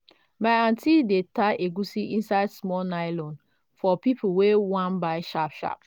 my aunti dey tie egusi inside small nylon for people wey wan buy sharp sharp.